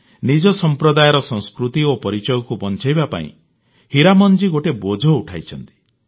ନିଜ ସମ୍ପ୍ରଦାୟର ସଂସ୍କୃତି ଓ ପରିଚୟକୁ ବଂଚାଇବା ପାଇଁ ହୀରାମନ ଜୀ ଗୋଟିଏ ବୋଝ ଉଠାଇଛନ୍ତି